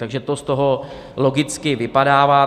Takže to z toho logicky vypadává.